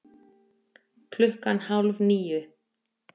Klukkan hálf níu